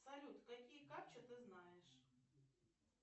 салют какие капчи ты знаешь